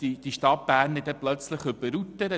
Sie fürchten sich vor der Stadt Bern.